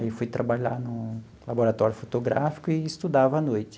Aí, eu fui trabalhar no laboratório fotográfico e estudava à noite.